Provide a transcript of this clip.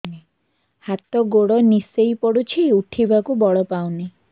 ହାତ ଗୋଡ ନିସେଇ ପଡୁଛି ଉଠିବାକୁ ବଳ ପାଉନି